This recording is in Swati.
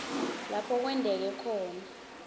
lapho kwenteke khona